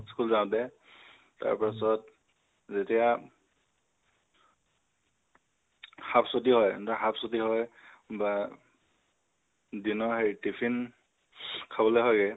school যাওঁতে তাৰ পাছত যেতিয়া half ছুটী হয় half ছুটী হয় বা দিনৰ সেই tiffin খাবলৈ হয়্গে